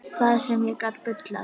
Það sem ég get bullað.